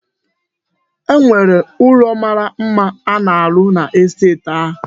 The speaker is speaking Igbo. E nwere ụlọ mara mma a na-arụ n'estet a.